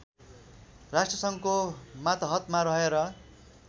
राष्ट्रसङ्घको मातहतमा रहेर